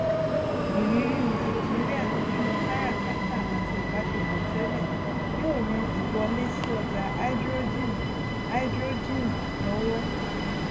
ìrírí nàìjíríà nínú káràkátà àti ìbásepọ tẹlẹ yóò ran ìwọlé sí ọjá háídírójìn háídírójìn lọwọ